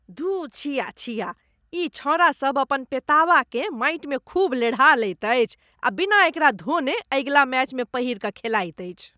धूः छिया छिया। ई छौंड़ासब अपन पेताबाकेँ माटिमे खूब लेढ़ा लैत अछि आ बिना एकरा धोने अगिला मैचमे पहिरि कऽ खेलाइत अछि।